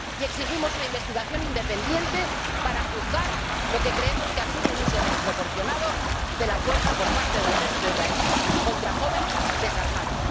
Y exigimos una investigación independiente para juzgar lo que creemos que ha sido un uso desproporcionado de la fuerza por parte del ejército israelí contra jóvenes desarmados.